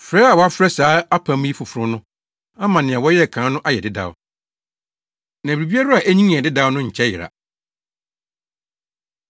Frɛ a wɔfrɛ saa apam yi “Foforo” no ama nea wɔyɛɛ kan no ayɛ dedaw; na biribiara a enyin yɛ dedaw no nkyɛ yera.